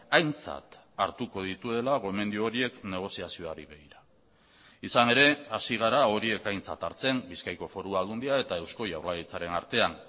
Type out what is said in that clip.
aintzat hartuko dituela gomendio horiek negoziazioari begira izan ere hasi gara horiek aintzat hartzen bizkaiko foru aldundia eta eusko jaurlaritzaren artean